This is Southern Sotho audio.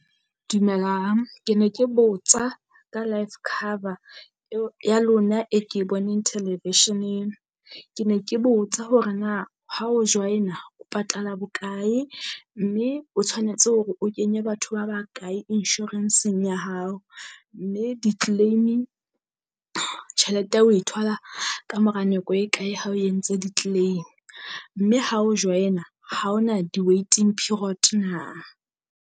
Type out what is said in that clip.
Dumelang ke ne ke botsa ka life cover eo ya lona e ke e boneng television-eng, ke ne ke botsa hore na ha o join-a o patala bokae? Mme o tshwanetse hore o kenye batho ba ba kae insurance eng ya hao? Mme di-claiming tjhelete oe thola kamora nako e kae ha o entse di-claim? Mme ha o join-a ha ho na di-waiting period na?